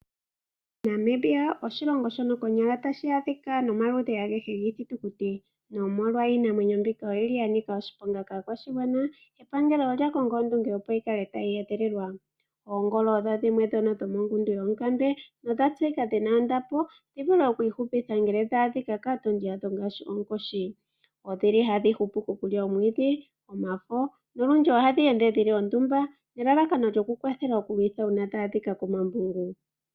Namibia oshilongo shono konyala tashi a dhika no maludhi a gehe gii shitukuti, no molwa iinamwenyo mbika oyili ya nika oshiponga kaa kwashigwana. Epangelo olya konga ondunge opo yibkale tayi edhililwa. Oongolo odho dhimwe dho mongundu yoonkambe, nodha tseyika dhina ondapo dhi vule oku I hupitha ngeme dha adhika kaa tondi yadho ngaashi onkoshi. Odhili hadhi hupu okulya omwiidhi, omafo, no lundji odhili hadhi ende dhili ondumba ne lalakano lyo ku kwii kwthala oku luthwa uuna dha a dhika ko mambungu.